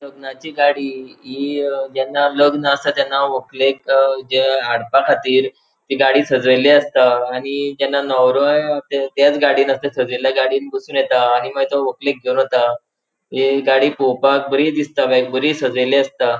लग्नाची गाड़ी इ जेन्ना लग्न आसा तेन्ना वकलेक जे हाड़पाखातीर ती गाड़ी सजेली आसता आणि जेन्ना नवरोंय सजेल्या गाड़ींन बोसोन येता आणि वकलेक घेवन वता हि गाड़ी पोवपाक बरी दिसता लायक बरी सजेली आसता.